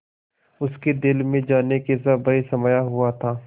उसके दिल में जाने कैसा भय समाया हुआ था